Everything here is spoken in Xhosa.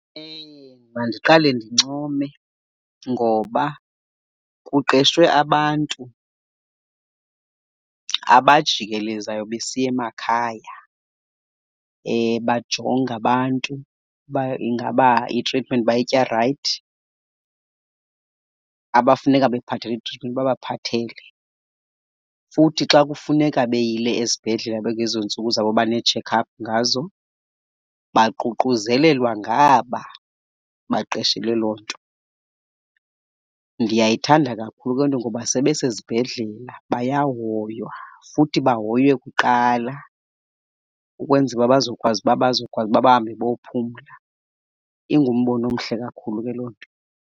Mandiqale ndincome ngoba kuqeshwe abantu abajikelezayo besiya emakhaya, bajonge abantu uba ingaba itritimenti bayitya right, abafuneka bephathelwe itritimenti babaphathele. Futhi xa kufuneka beyile ezibhedlele bekwezoo ntsuku zabo, bane-checkup ngazo, baququzelelwa ngaba baqeshelwe loo nto. Ndiyayithanda kakhulu loo nto ngoba sebesezibhedlela bayahoywa futhi bahoywe kuqala ukwenzela uba bazokwazi uba bazokwazi uba bahambe bayophumla. Ingumbono omhle kakhulu ke loo nto.